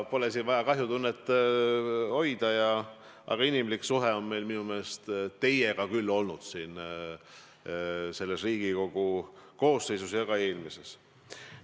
Pole siin vaja kahju tunda, aga inimlik suhe on mul minu meelest küll olnud teiega nii selle Riigikogu koosseisu ajal kui ka eelmise ajal.